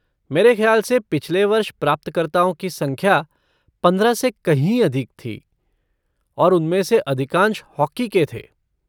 मेरे ख़्याल से पिछले वर्ष प्राप्तकर्ताओं की संख्या पंद्रह से कहीं अधिक थी और उनमें से अधिकांश हॉकी के थे।